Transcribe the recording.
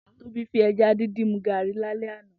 Tobi fí èjá dindin mú gàrí làlè àná